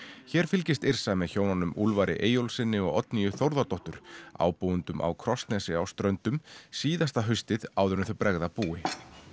hér fylgist Yrsa með hjónunum Úlfari Eyjólfssyni og Oddnýju Þórðardóttur ábúendum á Krossnesi á Ströndum síðasta haustið áður en þau bregða búi